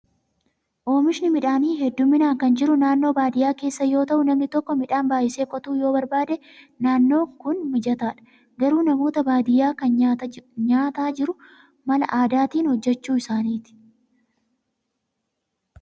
Oomishni midhaanii hedduminaan kan jiru naannoo baadiyyaa keessa yoo ta'u, namni tokko midhaan baay'isee qotuu yoo barbaade naannoon Kun mijataadha. Garuu namoota baadiyyaa kan nyaataa jiru mala aadaatiin hojjachuu isaaniiti.